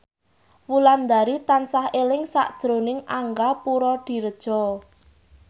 Wulandari tansah eling sakjroning Angga Puradiredja